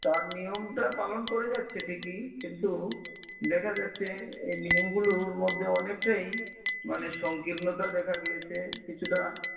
তার নিয়ম টা পালন করে যাচ্ছে ঠিকই কিন্তু দেখা যাচ্ছে এই নিয়ম গুলোর মধ্যে অনেক টাই মানে সংকীর্ণতা দেখা গিয়েছে কিছুটা